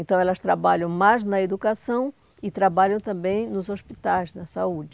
Então, elas trabalham mais na educação e trabalham também nos hospitais, na saúde.